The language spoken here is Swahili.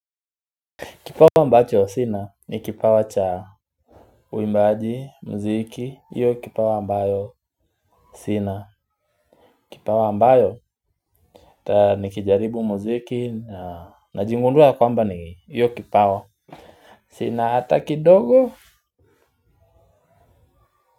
Kipawa ambacho sina ni kipawa cha uimbaji mziki iyo kipawa ambayo sina kipawa ambayo ta nikijaribu mziki najingundua kwamba ni iyo kipawa. Sina ata kidogo.